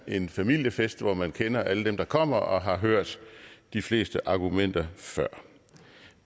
en familiefest hvor man kender alle dem der kommer og har hørt de fleste argumenter før